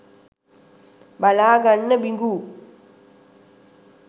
බලා ගන්න බිඟු.